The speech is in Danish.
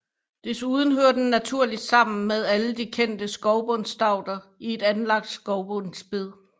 Desuden hører den naturligt sammen med alle de kendte skovbundsstauder i et anlagt skovbundsbed